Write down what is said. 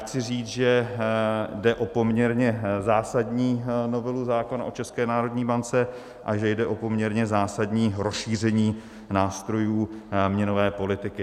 Chci říct, že jde o poměrně zásadní novelu zákona o České národní bance a že jde o poměrně zásadní rozšíření nástrojů měnové politiky.